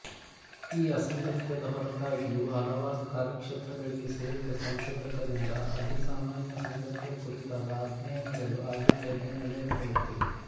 ಈ ಅಸಾಂಗತ್ಯದ ಹೊರತಾಗಿಯೂ ಹಲವಾರು ಕಾರ್ಯಕ್ಷೇತ್ರಗಳಿಗೆ ಸೇರಿದ ಸಂಶೋಧಕರಿಂದ ಅಧಿಸಾಮಾನ್ಯ ಸಂಗತಿಯ ಕುರಿತಾದ ಅಧ್ಯಯನಗಳು ಆಗಿಂದಾಗ್ಗೆ ನಡೆಸಲ್ಪಡುತ್ತಿವೆ